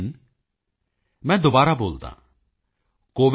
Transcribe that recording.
in ਮੈਂ ਦੁਬਾਰਾ ਬੋਲਦਾ ਹਾਂ covidwarriors